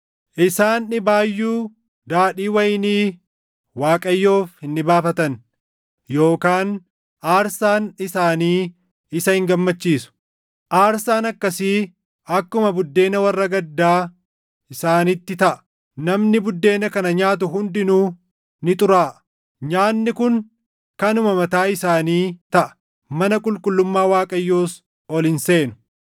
Isaan dhibaayyuu daadhii wayinii Waaqayyoof hin dhibaafatan; yookaan aarsaan isaanii isa hin gammachiisu. Aarsaan akkasii akkuma buddeena warra gaddaa isaanitti taʼa; namni buddeena kana nyaatu hundinuu ni xuraaʼa. Nyaanni kun kanuma mataa isaanii taʼa; mana qulqullummaa Waaqayyoos ol hin seenu.